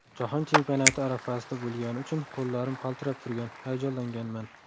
Jahon Chempionati arafasida bo‘lgani uchun qo‘llarim qaltirab turgan, hayajonlanganman”.